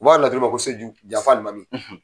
U b'a fɔ a laturu ma ko se janfa alimami.